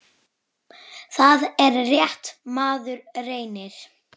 Það er rétt, maður reynir!